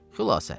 Xülasə.